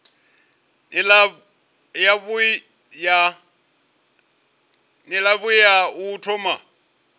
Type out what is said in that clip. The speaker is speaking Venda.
nila yavhui ya u thoma